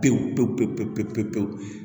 Pewu pewu pewu pewu pewu